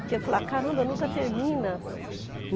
Porque eu falava, caramba, nunca termina.